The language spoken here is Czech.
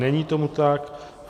Není tomu tak.